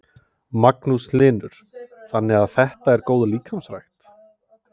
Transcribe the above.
Magnús Hlynur: Þannig þetta er góð líkamsrækt?